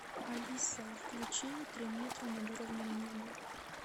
алиса включи три метра над уровнем неба